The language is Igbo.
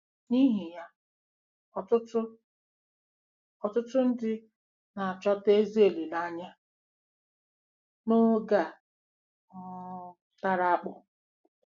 N’ihi ya, ọtụtụ, ọtụtụ ndị na-achọta ezi olileanya n’oge a um tara akpụ.